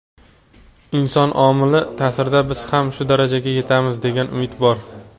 inson omili taʼsirida biz ham shu darajaga yetamiz degan umid bor.